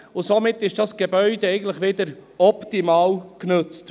Somit ist dieses Gebäude eigentlich wieder optimal genutzt.